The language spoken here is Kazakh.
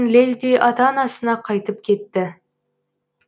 лезде ата анасына қайтып кетті